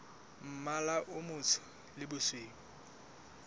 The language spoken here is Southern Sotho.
mmala o motsho le bosweu